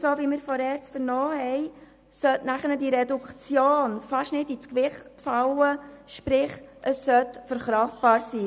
Wie wir von der ERZ vernommen haben, sollte die Reduktion durch die Massnahme fast nicht ins Gewicht fallen, sprich, sie sollte verkraftbar sein.